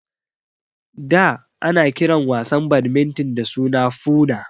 Da ana kiran wasan badminton da suna Foona